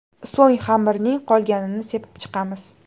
So‘ng xamirning qolganini sepib chiqamiz.